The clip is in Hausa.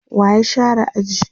wa ya share aji?